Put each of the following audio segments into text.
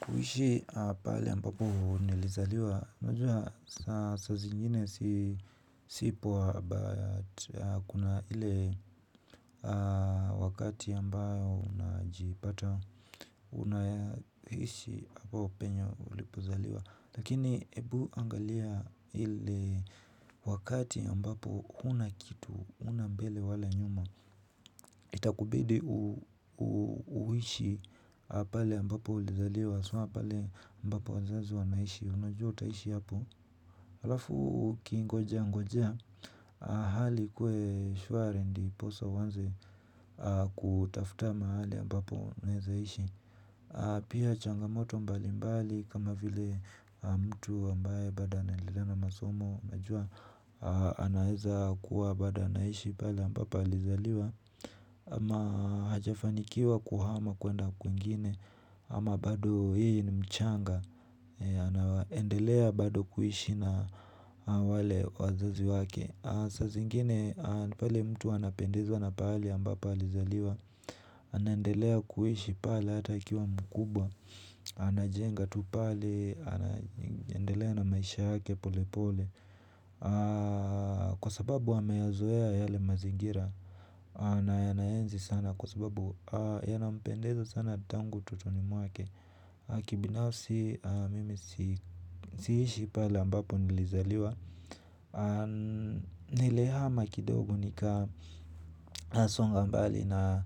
Kuishi pahali ambapo nilizaliwa. Unajua saa zingine si poa. But kuna ile wakati ambayo unajipata. Unaishi hapo penye ulipozaliwa. Lakini ebu angalia ile wakati ambapo hauna kitu hauna mbele wala nyuma. Itakubidi uishi pahali ambapo ulizaliwa. Si unaona pale ambapo wazazi wanaishi unajua utaishi hapo alafu ukingojea ngojea hali ikuwe shwari ndiposa uanze kutafuta mahali ambapo unawezaishi pia changamoto mbalimbali kama vile mtu ambaye bado anaendelea na masomo unajua anawezakuwa bado anaishi pale ambapo alizaliwa ama hajafanikiwa kuhama kuenda kwingine ama bado yeye ni Mchanga. Anaendelea bado kuishi na wale wazazi wake. Saa zingine pale mtu anapendezwa na pahali ambapo alizaliwa. Anaendelea kuishi pale hata akiwa mkubwa. Anajenga tu pale anaendelea na maisha yake pole pole. Kwa sababu ameyazoea yale mazingira. Anayaenzi sana kwa sababu yanampendeza sana tangu utotoni mwake. Kibinafsi mimi siishi pale ambapo nilizaliwa. Nilihama kidogo nikasonga mbali na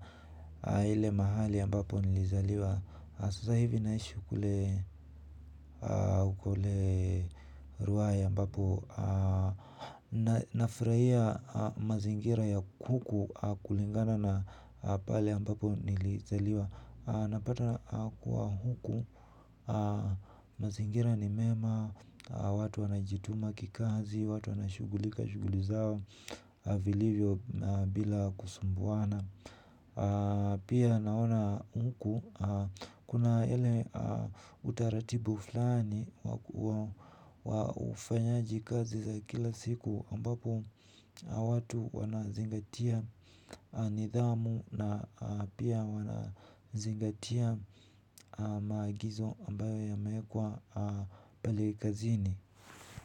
ile mahali ambapo nilizaliwa. Sasa hivi naishi kule ruai ambapo nafurahia mazingira ya kuku kulingana na pale ambapo nilizaliwa napata kuwa huku mazingira ni mema watu wanajituma kikazi, watu wanashughulika shughuli zao vilivyo na bila kusumbuana pia naona huku kuna ile utaratibu fulani wa ufanyaji kazi za kila siku ambapo watu wanazingatia nidhamu. Na pia wanazingatia maagizo ambayo yamewekwa pale kazini.